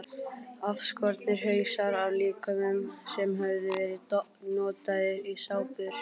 Afskornir hausar af líkömum sem höfðu verið notaðir í sápur.